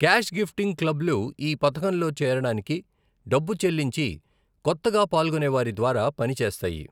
Cash gifting క్లబ్లు ఈ పథకంలో చేరడానికి డబ్బు చెల్లించి కొత్తగా పాల్గొనేవారి ద్వారా పని చేస్తాయి.